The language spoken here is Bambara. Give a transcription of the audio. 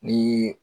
Ni